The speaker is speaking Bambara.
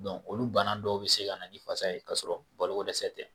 Dɔn olu bana dɔw bɛ se kana ni fasa ye kasɔrɔ balo ko dɛsɛ tɛ.